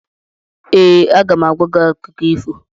Ee, aga m agwa gị akụkọ ifo.